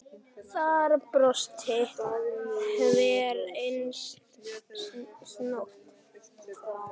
Þar brosir hver einasta snót.